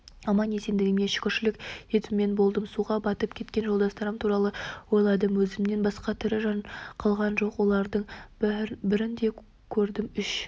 аман-есендігіме шүкіршілік етумен болдым суға батып кеткен жолдастарым туралы ойладым өзімнен басқа тірі жан қалған жоқ олардың бірін де көрмедім үш